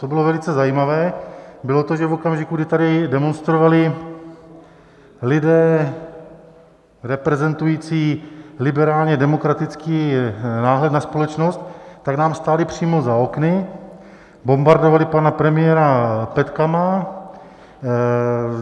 Co bylo velice zajímavé, bylo to, že v okamžiku, kdy tady demonstrovali lidé reprezentující liberálně demokratický náhled na společnost, tak nám stáli přímo za okny, bombardovali pana premiéra petkami.